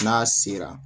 N'a sera